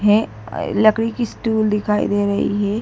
है। लकड़ी की स्टूल दिखाई दे रही है।